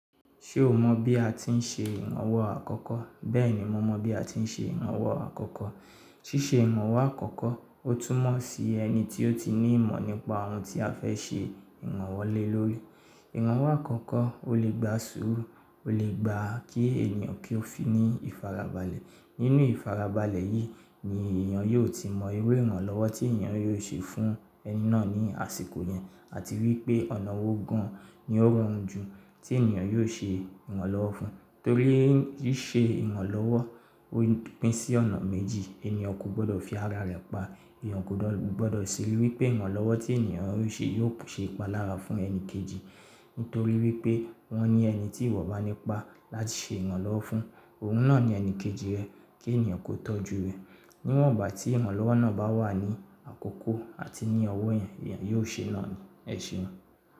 Ṣé o mọ bí a ti ń ṣe owọ̀n àkọ́kọ́? Bẹ́ẹ̀ni, mo mọ bí a ti ń ṣe ìwọ̀n àkọ́kọ́. Ṣíṣe iranwọ̀ àkọ́kọ́, ó túnmọ̀ sí ẹni tí ó ti ní ìmọ̀ nípa ohun tí a fẹ́ ṣe ìranwọ̀ lé lórí. Iranwo àkọ́kọ́ ó lè gba sùúrù, ó lè gba kí ènìyàn kí ó fi ní ìfarabalẹ̀. Nínú ìfarabalẹ̀ yìí ni èèyàn yóò ti mọ irú ìwọ̀n lọ́wọ́ tí ènìyàn yóò ṣe fún ẹni náà ní àsìkò yẹn. Àti wípé ọ̀nà wó gan-an ni ó rọrùn jù tí ènìyàn yóò ṣe ìranlọ́wọ́ fún. Torí rí ṣe ìwọ̀n lọ́wọ́, ó pín sí ọ̀nà méjì. Ẹniyan ko gbọdọ̀ fi ara rẹ̀ pa, èèyàn kò gbọdọ̀ ṣè wípé iranlọ́wọ́ tí ènìyàn yóò ṣe yóò ṣe ìpalára fún ẹni kejì. Nítorí wípé wọ́n ni ẹni tí ìwọ bá ní pa láti ṣe ìranlowọ̀ fún, òun náà ni ẹni kejì rẹ kí ènìyàn kó tọ́jú rẹ. Níwọ̀n ìgbà tí ìwọ̀n lọ́wọ́ náà bá wà ní àkókò àti ní ọwọ́ ẹ̀, èèyàn yóò ṣe na ni.